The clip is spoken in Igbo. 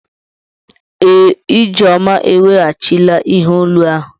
Ee, Ijeoma eweghachila ihe olu ahụ.